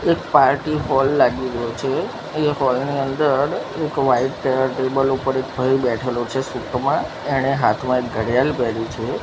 એક party hall લાગી રહ્યો છે એ હોલ ની અંદર એક વાઈટ કલર ના ટેબલ ઉપર એક ભાઈ બેઠેલો છે સૂટ મા એણે હાથમાં એક ઘડિયાળ પહેરી છે.